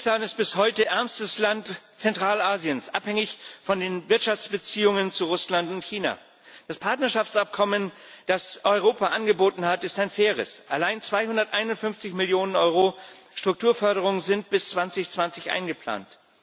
Tadschikistan ist bis heute als ärmstes Land Zentralasiens abhängig von den Wirtschaftsbeziehungen zu Russland und China. Das Partnerschaftsabkommen, das Europa angeboten hat, ist ein faires. Allein 251 Millionen Euro Strukturförderung sind bis 2020 eingeplant.